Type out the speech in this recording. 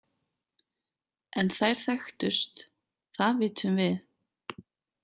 En þær þekktust, það vitum við.